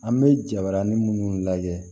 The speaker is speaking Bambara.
An bɛ jabarani minnu lajɛ